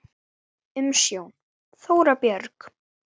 Umsjón: Þóra Björg.